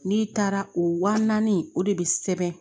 N'i taara o waa naani o de bi sɛbɛn